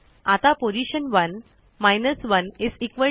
आता पोझिशन1 10